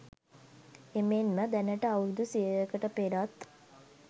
එමෙන්ම දැනට අවුරැදු සියයකට පෙරත්